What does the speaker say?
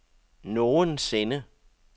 nogensinde